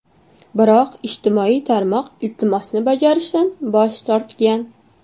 Biroq ijtimoiy tarmoq iltimosni bajarishdan bosh tortgan.